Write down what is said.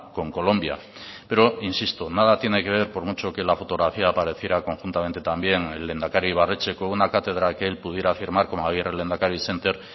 con colombia pero insisto nada tiene que ver por mucho que en la fotografía apareciera conjuntamente también el lehendakari ibarretxe con una cátedra que él pudiera firmar como agirre lehendakari center